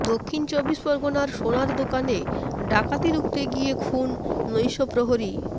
দক্ষিণ চব্বিশ পরগনায় সোনার দোকানে ডাকাতি রুখতে গিয়ে খুন নৈশপ্রহরী